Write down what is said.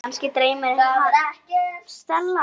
Kannski dreymdi mig bara.